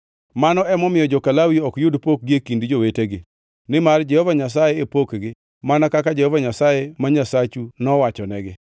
Mano ema omiyo joka Lawi ok yud pokgi e kind jowetegi; nimar Jehova Nyasaye e pokgi mana kaka Jehova Nyasaye ma Nyasachu nowachonegi.)